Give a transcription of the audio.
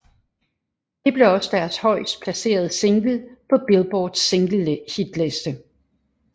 Det blev også deres højest placerede single på Billboards singlehitliste